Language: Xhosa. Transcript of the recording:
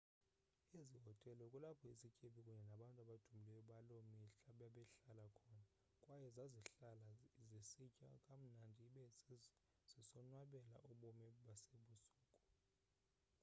ezi hotele kulapho izityebi kunye nantu abadumileyo baloo mihla bebehlala khona kwaye zazihlala zisitya kamnandi ibe zisonwabela ubomi basebusuku